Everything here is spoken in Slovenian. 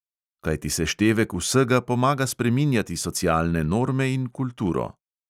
Kajti seštevek vsega pomaga spreminjati socialne norme in kulturo.